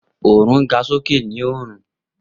Oorun ga soke ni-õrùn.